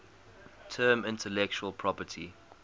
term intellectual property